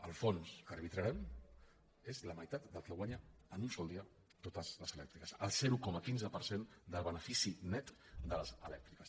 el fons que arbitrarem és la meitat del que guanyen en un sol dia totes les elèctriques el zero coma quinze per cent del benefici net de les elèctriques